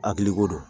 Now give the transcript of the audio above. Hakiliko don